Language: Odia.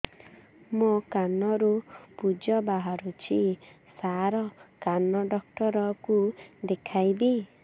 ମୋ କାନରୁ ପୁଜ ବାହାରୁଛି ସାର କାନ ଡକ୍ଟର କୁ ଦେଖାଇବି